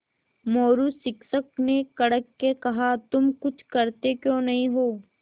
मोरू शिक्षक ने कड़क के कहा तुम कुछ करते क्यों नहीं हो